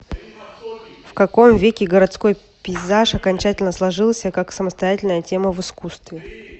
в каком веке городской пейзаж окончательно сложился как самостоятельная тема в искусстве